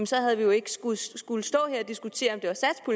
så havde vi jo ikke skullet skullet stå her og diskutere